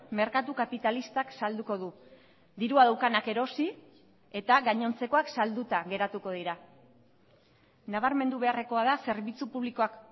merkatu kapitalistak salduko du dirua daukanak erosi eta gainontzekoak salduta geratuko dira nabarmendu beharrekoa da zerbitzu publikoak